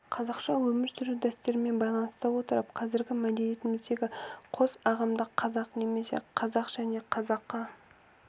қазақша өмір сүру дәстүрімен байланыстыра отырып қазіргі мәдениетіміздегі қос ағымды қазақ немесе казах және қазақы